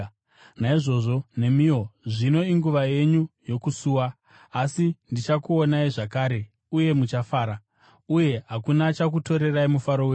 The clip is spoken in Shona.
Naizvozvo nemiwo zvino inguva yenyu yokusuwa, asi ndichakuonai zvakare uye muchafara, uye hakuna achakutorerai mufaro wenyu.